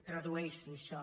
tradueix·ho això